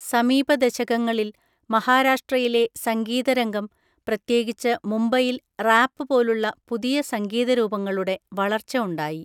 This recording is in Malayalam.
സമീപ ദശകങ്ങളിൽ മഹാരാഷ്ട്രയിലെ സംഗീത രംഗം, പ്രത്യേകിച്ച് മുംബൈയിൽ റാപ്പ് പോലുള്ള പുതിയ സംഗീത രൂപങ്ങളുടെ വളർച്ച ഉണ്ടായി.